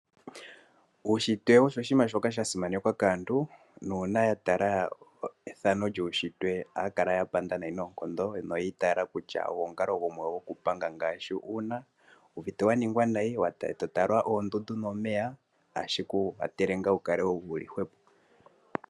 Uunshitwe osho oshinima shoka sha simanekwa kaantu nuuna ya tala ethano lyuunshitwe ohaya kala ya panda nayi noonkondo. No yi itaala kutya ogo omukalo gumwe goku panga ngaashi uuna wu uvite wa ningwa nayi eto tala oondundu nomeya ohashi ku kwathele ngaa wukale wuli hwepo.